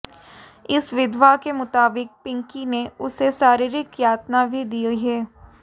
इस विधवा के मुताबिक पिंकी ने उसे शारीरिक यातना भी दी है